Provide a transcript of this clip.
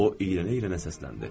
O irənə-irənə səsləndi.